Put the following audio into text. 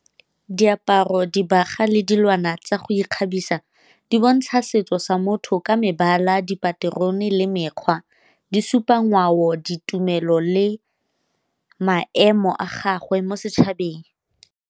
Diaparo, dibagwa le dilwana tsa go ikgabisa di bontsha setso sa motho ka mebala, dipaterone le mekgwa. Di supa ngwao, ditumelo le maemo a gagwe mo setšhabeng.